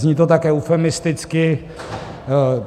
Zní to tak eufemisticky...